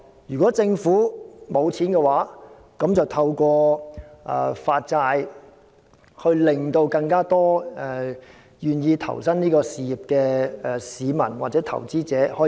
如果政府沒有資金，便可透過發債，讓更多願意投身這項事業的市民或投資者參與。